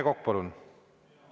Rene Kokk, palun!